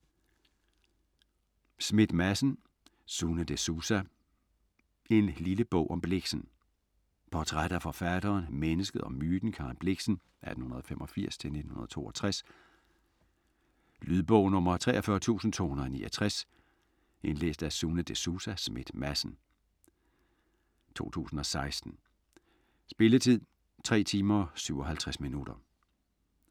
Schmidt-Madsen, Sune De Souza: En lille bog om Blixen Portræt af forfatteren, mennesket og myten Karen Blixen (1885-1962). Lydbog 43269 Indlæst af Sune De Souza Schmidt-Madsen, 2016. Spilletid: 3 timer, 57 minutter.